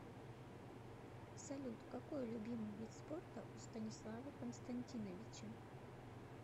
салют какой любимый вид спорта у станислава константиновича